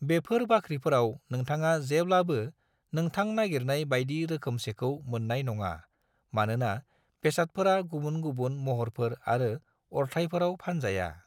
बेफोर बाख्रिफोराव नोंथाङा जेब्लाबो नोंथां नागिरनाय बायदि रोखोमसेखौ मोन्नाय नङा मानोना बेसादफोरा गुबुन-गुबुन महरफोर आरो अरथायफोराव फानजाया।